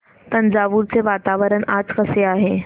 तंजावुर चे वातावरण आज कसे आहे